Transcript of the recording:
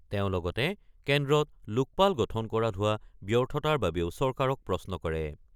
তেওঁ লগতে কেন্দ্ৰত লোকপাল গঠন কৰাত হোৱা ব্যৰ্থতাৰ বাবেও চৰকাৰক প্ৰশ্ন কৰে।